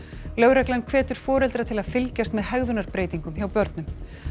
lögreglan hvetur foreldra til að fylgjast með hjá börnum